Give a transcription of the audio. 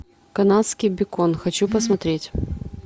канадский бекон хочу посмотреть